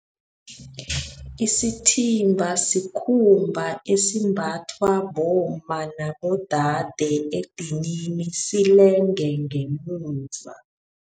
Isithimba sikhumba esimbathwa bomma nabodade edinini silenge ngemuva.